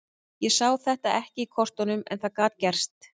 Ég sá þetta ekki í kortunum en það gat gerst.